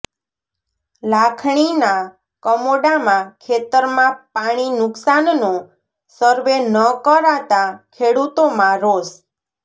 લાખણીના કમોડામાં ખેતરમાં પાણી નુકસાનનો સર્વે ન કરાતાં ખેડૂતોમાં રોષ